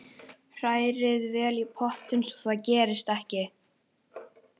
Hrærið vel í pottinum svo það gerist ekki.